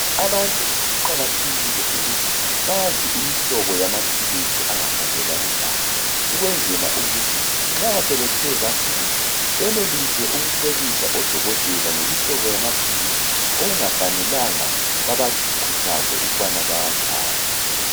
Abantu kuqakathekile bayazi imihlobo lamaphilisi angahambelani labo. Ukwenzela ukuthi sebethe bathe bagula benelise ukucebisa odokotela ngamaphilisi okungamelanga bawathathe.